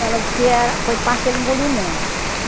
Ela disse que era foi parte que ele engoliu muito.